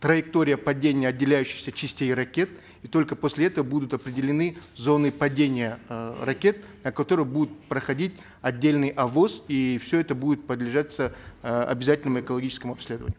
траектория падения отделяющихся частей ракет и только после этого будут определены зоны падения э ракет на которые будут проходить отдельный овос и все это будет э обязательному экологическому обследованию